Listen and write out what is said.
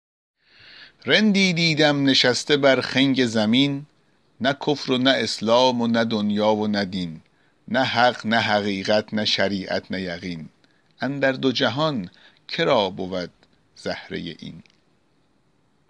رندی دیدم نشسته بر خنگ زمین نه کفر و نه اسلام و نه دنیا و نه دین نه حق نه حقیقت نه شریعت نه یقین اندر دو جهان که را بود زهره این